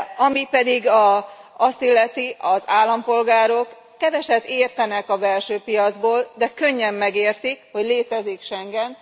Ami pedig azt illeti, az állampolgárok keveset értenek a belső piacból, de könnyen megértik, hogy létezik Schengen.